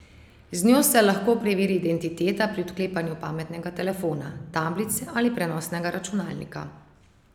Z njo se lahko preveri identiteta pri odklepanju pametnega telefona, tablice ali prenosnega računalnika.